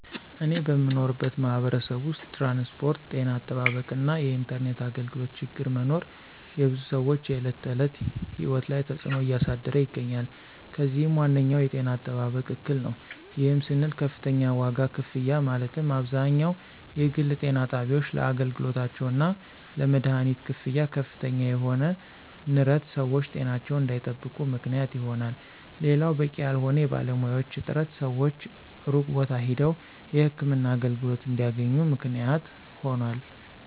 እኔ በምኖርበት ማህበረሰብ ውስጥ ትራንስፖርት፣ ጤና አጠባበቅ እና የኢንተርኔት አገልግሎቶ ችግር መኖር የብዙ ሰወች የዕለት ተዕለት ህይወት ላይ ተፅዕኖ እያሳደረ ይገኛል። ከዚህም ዋነኛው የጤና አጠባበቅ እክል ነው። ይህም ስንል ከፍተኛ ዋጋ ክፍያ ማለትም አብዛኛው የግል ጤና ጣቢያወች ለአገልግሎታቸው እና ለመደሀኒት ክፍያ ከፍተኛ የሆነ ንረት ሰወች ጤናቸውን እንዳይጠብቁ ምክንያት ይሆናል። ሌላው በቂ ያልሆነ የባለሙያዎች እጥረት ሰወች ሩቅ ቦታ ሄደው የህክምና አገልግሎት እንዲያገኙ ምክንያት ሆኗል።